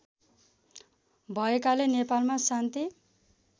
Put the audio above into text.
भएकाले नेपालमा शान्ति